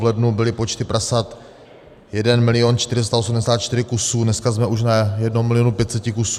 V lednu byly počty prasat 1 milion 484 kusů, dneska jsme už na 1 milionu 500 kusů.